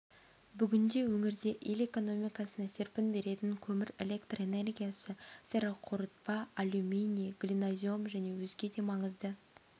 бүгінде өңірде ел экономикасына серпін беретін көмір электр энергиясы ферроқорытпа алюминий глинозем және өзге де маңызды